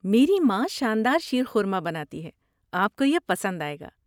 میری ماں شان دار شیرخورما بناتی ہے، آپ کو یہ پسند آئے گا۔